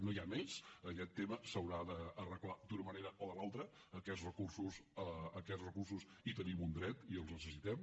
no hi ha més aquest tema s’haurà d’arreglar d’una manera o de l’altra a aquests recursos hi tenim un dret i els necessitem